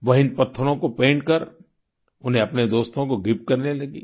वह इन पत्थरों को पैंट कर उन्हें अपने दोस्तों को गिफ्ट करने लगीं